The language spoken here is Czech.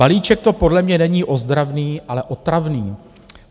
Balíček to podle mě není ozdravný, ale otravný.